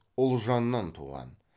ұлжаннан туған